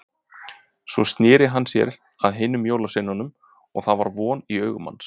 Svo sneri hann sér að hinum jólasveinunum og það var von í augum hans.